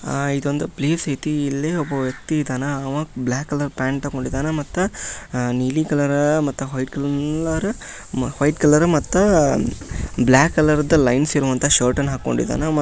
ಆಹಾ ಇದೊಂದು ಪ್ಲೇಸ್ ಐತಿ ಇಲ್ಲಿ ಒಬ್ಬ ವ್ಯಕ್ತಿ ಇದ್ದಾನ ಅವ ಬ್ಲಾಕ್ ಕಲರ್ ಪ್ಯಾಂಟ್ ಹಾಕೊಂಡಿದ್ದಾನೆ ಮತ್ತೆ ಆಹ್ ನೀಲಿ ಕಲರ್ ಮತ್ತೆ ವೈಟ್ ಕಲರ್ ವೈಟ್ ಕಲರ್ ಮತ್ತೆ ಬ್ಲಾಕ್ ಕಲರ್ದ ಲೈನ್ಸ್ ಇರುವಂತಹ ಶರ್ಟ್ ಹಾಕೊಂಡಿದ್ದಾನೆ ಮ--